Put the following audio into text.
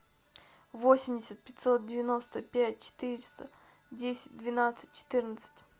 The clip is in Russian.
восемьдесят пятьсот девяносто пять четыреста десять двенадцать четырнадцать